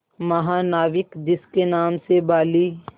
महानाविक जिसके नाम से बाली